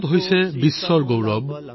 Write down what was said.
ভাৰত হৈছে বিশ্ব ভাতৃৰ গৌৰৱ